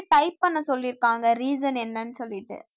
type பண்ண சொல்லிருக்காங்க reason என்னன்னு சொல்லிட்டு